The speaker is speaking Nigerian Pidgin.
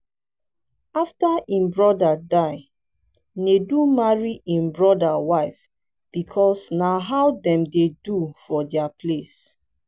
after im brother die nedu marry im brother wife because na how dem dey do for dia place